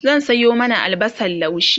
zan Sayo mana albasan laushi